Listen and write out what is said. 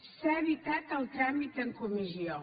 s’ha evitat el tràmit en comissió